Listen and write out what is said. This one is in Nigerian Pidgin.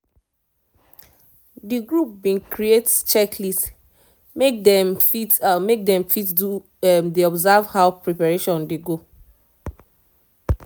the group been create check list make them fit make them fit de observe how preparation dey go